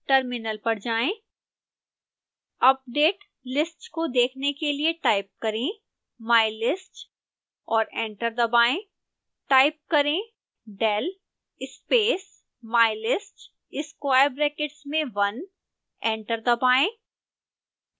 terminal पर जाएं